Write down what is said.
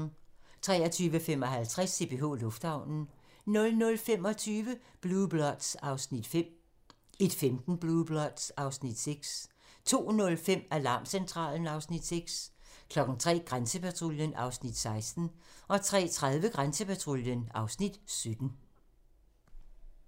23:55: CPH Lufthavnen 00:25: Blue Bloods (Afs. 5) 01:15: Blue Bloods (Afs. 6) 02:05: Alarmcentralen (Afs. 6) 03:00: Grænsepatruljen (Afs. 16) 03:30: Grænsepatruljen (Afs. 17)